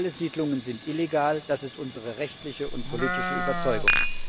Alle Siedlungen sind illegal, das ist unsere rechtliche und politische Überzeugung.